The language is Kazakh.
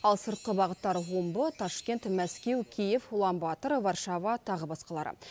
ал сыртқа бағыттар омбы ташкент мәскеу киев уланбатор варшава тағы басқалары